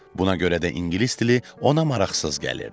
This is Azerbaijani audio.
Buna görə də ingilis dili ona maraqsız gəlirdi.